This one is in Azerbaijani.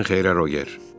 Gecən xeyrə Roger.